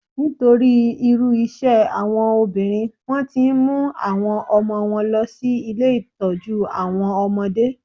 Nítorí irú iṣẹ́ àwọn obìnrin, wón ti ń mú àwọn ọmọ wọn lọ sí ilé Ìtọ́jú àwọn ọmọdé.